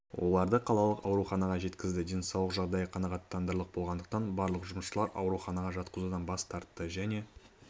оларды қалалық ауруханаға жеткізді денсаулық жағдайы қанағаттанарлық болғандықтан барлық жұмысшылар ауруханаға жатқызудан бас тартты және